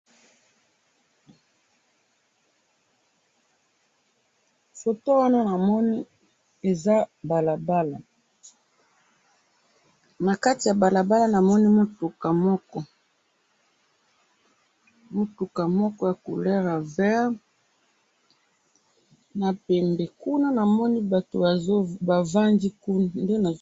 Photo wana namoni eza balabala. na kati ya balabala namoni mutuka moko, mutuka moko ya couleur ya vert na pembe kuna namoni batu bavandi